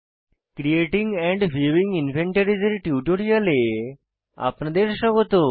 creating and viewing inventories এর টিউটোরিয়ালে আপনাদের স্বাগত